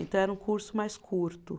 Então, era um curso mais curto.